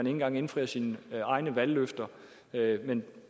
engang indfrier sine egne valgløfter men